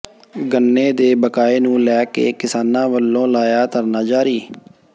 ਗੰਨੇ ਦੇ ਬਕਾਏ ਨੂੰ ਲੈ ਕੇ ਕਿਸਾਨਾਂ ਵੱਲੋਂ ਲਾਇਆ ਧਰਨਾ ਜਾਰੀ